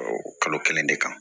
O kalo kelen de kan